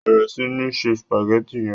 bẹrẹ sí ńse spaghetti yén.